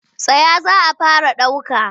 Tsaya za a fara ɗauka!